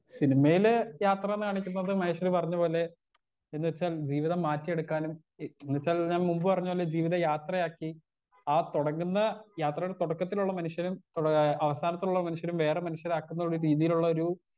Speaker 1 സിനിമയിലെ യാത്രാന്ന് കാണിക്കുന്നത് മഹേശ്വരി പറഞ്ഞ പോലെ എന്നുവെച്ചാൽ ജീവിതം മാറ്റിയെടുക്കാനും ഈ എന്നുവെച്ചാൽ ഞാൻ മുമ്പ് പറഞ്ഞ പോലെ ജീവിതം യാത്രയാക്കി ആ തൊടങ്ങ്ന്ന യാത്രെടെ തൊടക്കത്തിലുള്ള മനുഷ്യരും ഇപ്പള് അവസാനത്തുള്ള മനുഷ്യരും വേറെ മനുഷ്യരാക്ക്ന്നൊരു രീതീല്ള്ളൊരു.